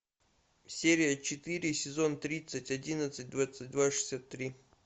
серия четыре сезон тридцать одиннадцать двадцать два шестьдесят три